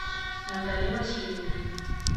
наталья васильевна